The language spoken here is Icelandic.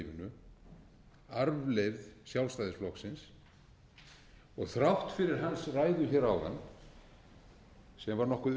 þjóðlífinu arfleifð sjálfstæðisflokksins þrátt fyrir hans ræðu hér áðan sem var nokkuð